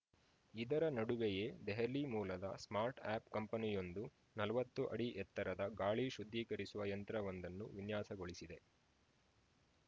ಇದರ ನಡುವೆಯೇ ದೆಹಲಿ ಮೂಲದ ಸ್ಟಾರ್ಟ್‌ಅಪ್‌ ಕಂಪನಿಯೊಂದು ನಲವತ್ತು ಅಡಿ ಎತ್ತರದ ಗಾಳಿ ಶುದ್ಧೀಕರಿಸುವ ಯಂತ್ರವೊಂದನ್ನು ವಿನ್ಯಾಸಗೊಳಿಸಿದೆ